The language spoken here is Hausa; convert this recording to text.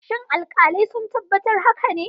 Shin alkalai sun tabbatar haka ne?